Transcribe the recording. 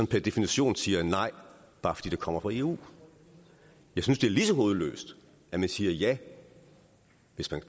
per definition siger nej bare fordi det kommer fra eu jeg synes det er lige så hovedløst at man siger ja